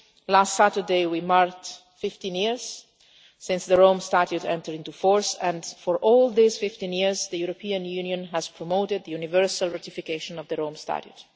Last Saturday, we marked 15 years since the Rome Statute entered into force and, for all those 15 years, the European Union has promoted the universal ratification of the Rome Statute.